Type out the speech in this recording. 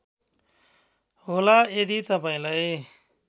होला यदि तपाईँलाई